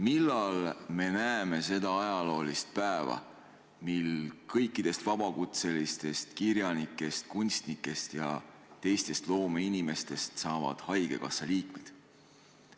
Millal me näeme seda ajaloolist päeva, mil kõikidest vabakutselistest kirjanikest, kunstnikest ja teistest loomeinimestest saavad haigekassa liikmed?